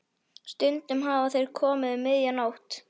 Stundum hafa þeir komið um miðja nótt.